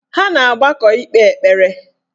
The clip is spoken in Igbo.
Ha na-agbakọ ikpe ekpere